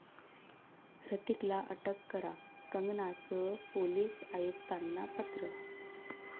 ह्रतिकला अटक करा, कंगनाचं पोलीस आयुक्तांना पत्र